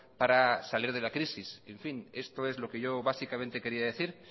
para salir de la crisis en fin esto es lo que yo básicamente quería decir